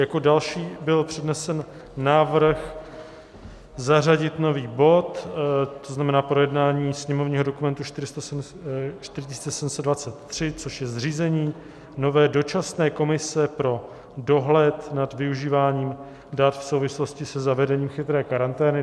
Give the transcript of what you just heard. Jako další byl přednesen návrh zařadit nový bod, to znamená projednání sněmovního dokumentu 4723, což je zřízení nové dočasné komise pro dohled nad využíváním dat v souvislosti se zavedením chytré karantény.